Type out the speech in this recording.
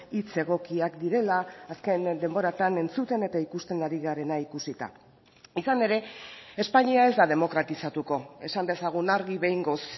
hitz egokiak direla azken denboratan entzuten eta ikusten ari garena ikusita izan ere espainia ez da demokratizatuko esan dezagun argi behingoz